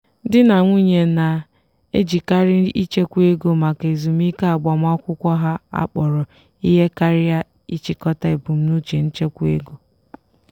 di na nwunye na-ejikarị ịchekwa ego maka ezumike agbamakwụkwọ ha akpọrọ ihe karịa ịchịkọta ebumnuche nchekwa ego.